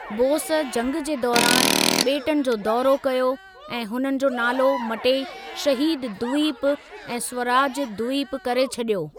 बोस जंग जे दौरानि बे॒टनि जो दौरो कयो ऐं हुननि जो नालो मटे शहीद द्वीप ऐं स्वराज द्वीप करे छडि॒यो।